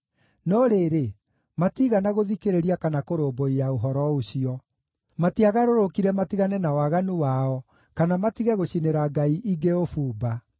No rĩrĩ, matiigana gũthikĩrĩria kana kũrũmbũiya ũhoro ũcio; matiagarũrũkire matigane na waganu wao, kana matige gũcinĩra ngai ingĩ ũbumba.